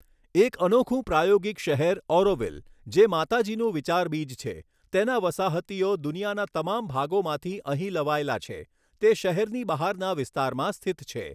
એક અનોખું પ્રાયોગિક શહેર ઑરોવિલ, જે માતાજીનું વિચારબીજ છે, તેના વસાહતીઓ દુનિયાના તમામ ભાગોમાંથી અહીં લવાયેલા છે, તે શહેરની બહારના વિસ્તારમાં સ્થિત છે.